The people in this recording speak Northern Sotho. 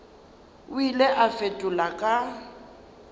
o ile a fetola ka